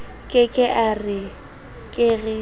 ke ke a re ke